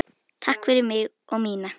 Takk fyrir mig og mína.